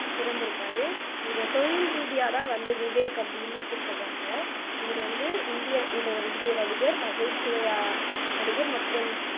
பிறந்திருக்காரு இவர் தொழில் ரீதியாதான் வந்து விவேக் அப்படின்னு கூப்பிடுறாங்க இவரு வந்து ஒரு இந்தியர் இவரு ஒரு இந்திய நடிகர் நகைச்சுவையா நடிகர் மற்றும்